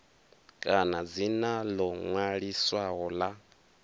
kana dzina ḽo ṅwaliswaho ḽa